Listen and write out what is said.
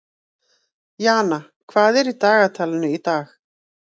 Jana, hvað er í dagatalinu í dag?